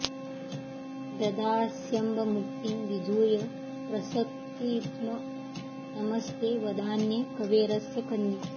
ददास्यम्ब मुक्तिं विधूय प्रसकित्म् नमस्ते वदान्ये कवेरस्य कन्ये